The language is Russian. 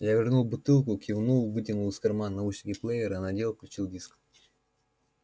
я вернул бутылку кивнул вытянул из кармана наушники плеера надел включил и диск